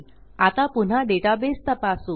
आता पुन्हा डेटाबेस तपासू